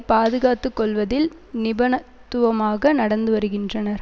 பாதுகாத்துக்கொள்வதில் நிபணத்துவமாக நடந்து வருகின்றனர்